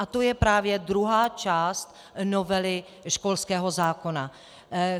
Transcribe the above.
A to je právě druhá část novely školského zákona.